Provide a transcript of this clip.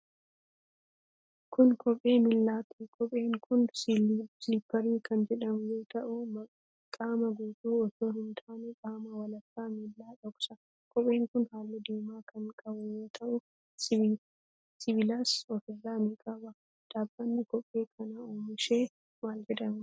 Kun kophee miilaatii. Kopheen kun, siliipparii kan jedhamu yoo ta'u, qaama guutuu osoo hin taane qaama walakkaa miilaa dhoksa. Kopheen kun, haalluu diimaa kan qabu yoo ta'u, sibiilas of irraa ni qaba. Dhaabbanni kophee kana oomishe maal jedhama?